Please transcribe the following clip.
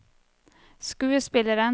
skuespilleren